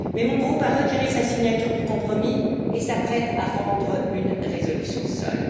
Mais mon groupe a retiré sa signature du compromis et s'apprête à rendre une résolution seul.